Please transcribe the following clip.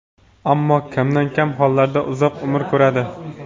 ammo kamdan-kam hollarda uzoq umr ko‘radi.